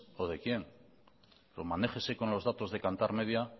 o de quién pero manéjese con los datos de kantar media